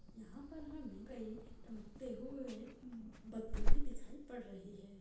यहां पर हमे कई टमकते हुए अं बत्ती भी दिखाई पड़ रही है।